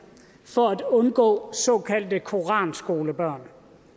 for at undgå såkaldte koranskolebørn